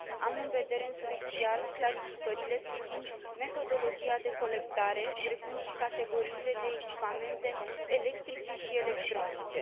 Am în vedere, în special clarificările privind metodologia de colectare, precum și categoriile de echipamente electrice și electronice.